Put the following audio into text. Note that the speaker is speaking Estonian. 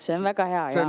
See on väga hea!